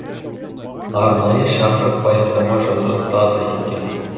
арнайы шақырып баяндама жасатады екен